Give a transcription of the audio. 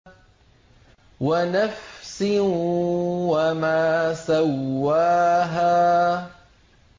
وَنَفْسٍ وَمَا سَوَّاهَا